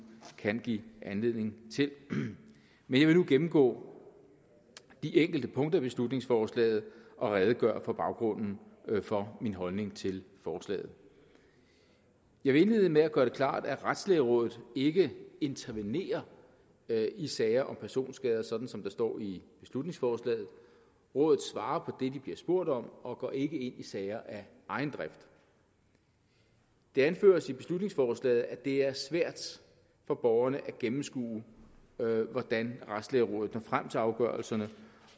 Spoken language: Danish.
kan give anledning til men jeg vil nu gennemgå de enkelte punkter i beslutningsforslaget og redegøre for baggrunden for min holdning til forslaget jeg vil indlede med at gøre det klart at retslægerådet ikke intervenerer i sager om personskade sådan som der står i beslutningsforslaget rådet svarer det de bliver spurgt om og går ikke ind i sager af egen drift det anføres i beslutningsforslaget at det er svært for borgerne at gennemskue hvordan retslægerådet når frem til afgørelserne